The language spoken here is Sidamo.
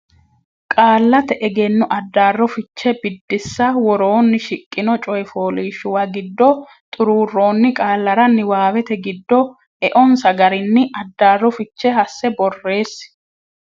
Qaallate Egenno Addaarro Fiche Biddissa Woroonni shiqqino coy fooliishshuwa giddo xuruurroonni qaallara niwaawete giddo eonsa garinni addaarro fiche hasse borreessi.